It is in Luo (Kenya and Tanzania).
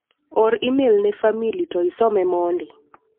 Or imel ne famili to isome mondi.